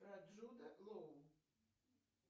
про джуда лоу